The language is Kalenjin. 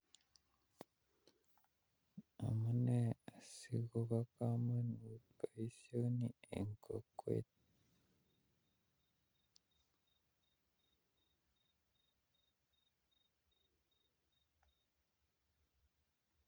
Amune sikobo komonut boisioni en kokwet